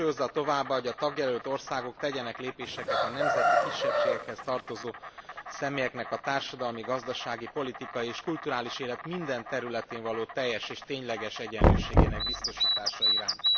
Hangsúlyozza továbbá, hogy a tagjelölt országok tegyenek lépéseket a nemzeti kisebbségekhez tartozó személyeknek a társadalmi, gazdasági, politikai és kulturális élet minden területén való teljes és tényleges egyenlőségének biztosítása iránt.